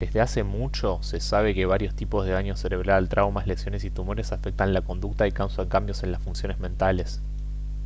desde hace mucho se sabe que varios tipos de daño cerebral traumas lesiones y tumores afectan la conducta y causan cambios en las funciones mentales